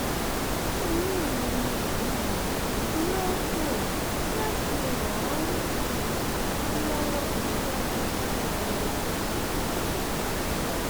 inú mi um yóò dùn láti ràn ọ um lọwọ síwájú sí i um